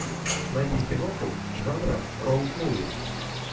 найди киноху жанра роуд муви